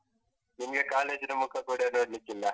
ನಿಮ್ಗೆ college ನ ಮುಖ ಕೂಡಾ ನೋಡ್ಲಿಕ್ಕಿಲ್ಲ.